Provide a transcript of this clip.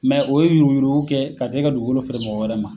o ye yuruku yuruku kɛ ka kila ka dugukolo feere mɔgɔ wɛrɛ ma.